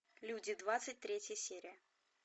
люди двадцать третья серия